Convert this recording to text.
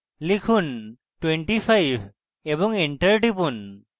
লিখুন 25 এবং enter টিপুন